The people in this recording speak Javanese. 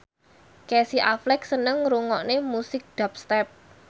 Casey Affleck seneng ngrungokne musik dubstep